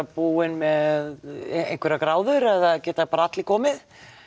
búinn með einhverjar gráður eða geta bara allir komið